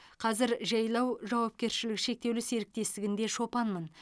қазір жайлау жауапкершілігі шектеулі серіктестігінде шопанмын